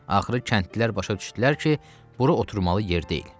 Axırı kəndlilər başa düşdülər ki, buru oturmalı yer deyil.